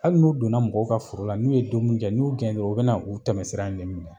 Hali n'u donna mɔgɔw ka foro la n'u ye domini kɛ ni y'u gɛn dɔrɔn u be na u tɛmɛsira in de minɛ